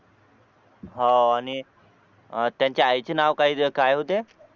हो आणि अह त्यांच्या आईचे नाव काय काय होते